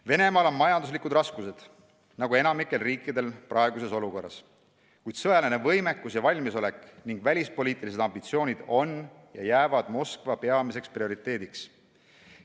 Venemaal on majanduslikud raskused nagu enamikul riikidel praeguses olukorras, kuid sõjaline võimekus ja valmisolek ning välispoliitilised ambitsioonid on ja jäävad Moskva peamiseks prioriteediks.